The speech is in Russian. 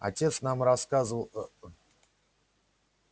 отец нам рассказывал ээ ээ